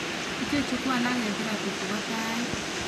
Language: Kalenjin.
Ichechu ko alak en therapy chebo tait